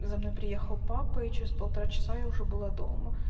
за мной приехал папа и через полтора часа я уже была дома